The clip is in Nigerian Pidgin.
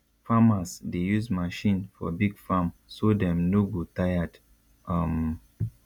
farmers dey use machine for big farm so dem no go tired um